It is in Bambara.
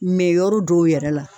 Mɛ yɔrɔ dɔw yɛrɛ la